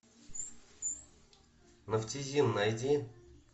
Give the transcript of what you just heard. нафтизин найди